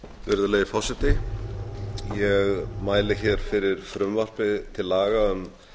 virðulegi forseti ég mæli hér fyrir frumvarpi til laga um